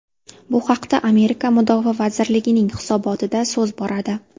Bu haqda Amerika Mudofaa vazirligining hisobotida so‘z boradi .